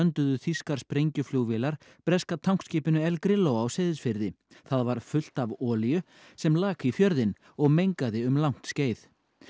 grönduðu þýskar sprengjuflugvélar breska tankskipinu El Grillo á Seyðisfirði það var fullt af olíu sem lak í fjörðinn og mengaði um langt skeið